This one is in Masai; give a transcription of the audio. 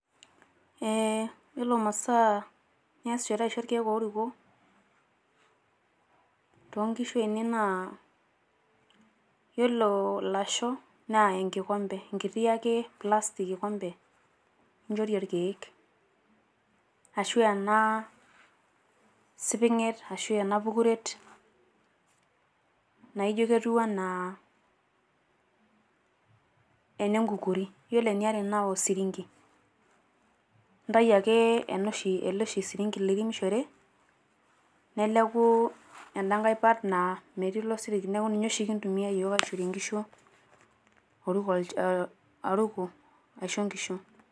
Iyiolo masaa niasishore aisho irkeek ooruko to nkishu ainei naa iyiolo lasho naa enkikombe enkiti ake plastic kikombe ninjorie irkeek ashu ena siping'et ashu ena pukuret naijo ketiu enaa ene ng'ukuri. Yiolo eniare etiu naa osirinki, intayu ake osirinki ele oshi liremishore neleku ena nkae part naa metii ilo sirinki neeku ninye oshi kintumia iyiok aishorie nkishu oruko aisho nkishu.